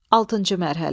Altıncı mərhələ.